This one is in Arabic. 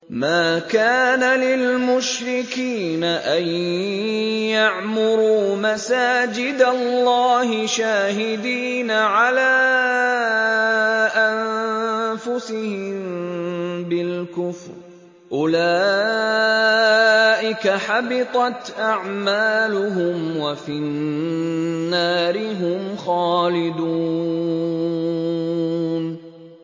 مَا كَانَ لِلْمُشْرِكِينَ أَن يَعْمُرُوا مَسَاجِدَ اللَّهِ شَاهِدِينَ عَلَىٰ أَنفُسِهِم بِالْكُفْرِ ۚ أُولَٰئِكَ حَبِطَتْ أَعْمَالُهُمْ وَفِي النَّارِ هُمْ خَالِدُونَ